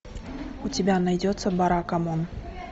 у тебя найдется баракамон